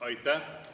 Aitäh!